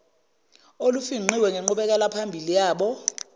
olufingqiwe ngenqubekelaphambili yabo